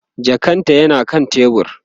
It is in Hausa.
jakan ta yana kan tebur